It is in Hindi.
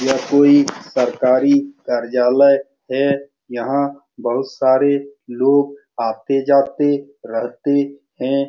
यह कोई सरकारी कार्यालय है यहाँ बहुत सारे लोग आते-जाते रहते हैं।